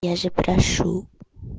я же прошу